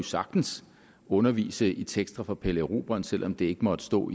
sagtens undervise i tekster fra pelle erobreren selv om det ikke måtte stå